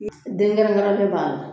Den kɛrɛ